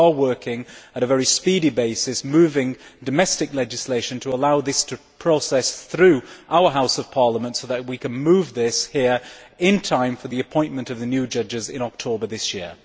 We are working on a very speedy basis, moving domestic legislation to allow this to proceed through our Houses of Parliament, so that we can move this here in time for the appointment of the new judges in October this year.